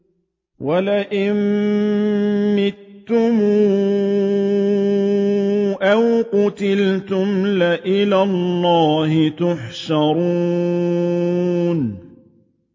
وَلَئِن مُّتُّمْ أَوْ قُتِلْتُمْ لَإِلَى اللَّهِ تُحْشَرُونَ